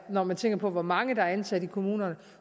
når man tænker på hvor mange der er ansat i kommunerne